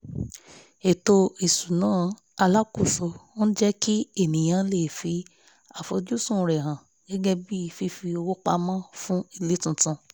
ètò iṣuna alákóso ń jẹ́ kí ènìyàn le fi àfojúsùn rẹ̀ hàn gẹ́gẹ́ bí fífi owó pamọ́ fún ilé tuntun